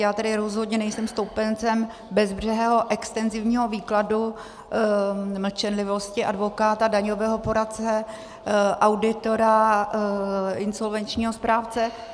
Já tedy rozhodně nejsem stoupencem bezbřehého extenzivního výkladu mlčenlivosti advokáta, daňového poradce, auditora, insolvenčního správce.